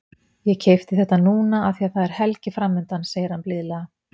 Ég keypti þetta núna af því að það er helgi framundan, segir hann blíðlega.